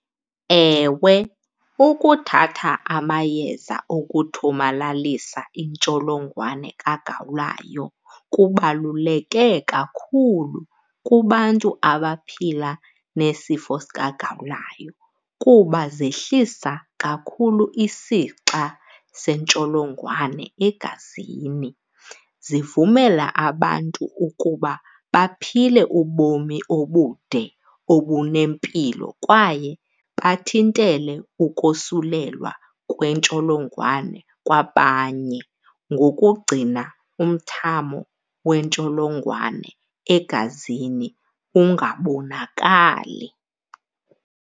Ewe, ukuthatha amayeza okuthomalalisa intsholongwane kagawulayo kubaluleke kakhulu kubantu abaphila nesifo sikagawulayo kuba zehlisa kakhulu isixa sentsholongwane egazini. Zivumela abantu ukuba baphile ubomi ubude obunempilo kwaye bathintele ukosulelwa kwentsholongwane kwabanye ngokugcina umthamo wentsholongwane egazini ungabonakali.